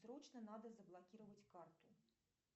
срочно надо заблокировать карту